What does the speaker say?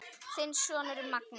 Þinn sonur Magnús.